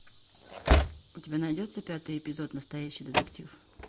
у тебя найдется пятый эпизод настоящий детектив